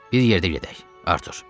Bir yerdə gedək Artur.